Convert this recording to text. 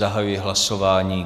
Zahajuji hlasování.